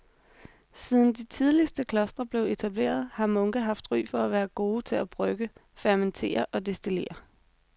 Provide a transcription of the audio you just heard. Siden de tidligste klostre blev etableret har munke haft ry for at være gode til at brygge, fermentere og destillere.